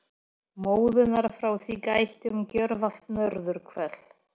Móðunnar frá því gætti um gjörvallt norðurhvel.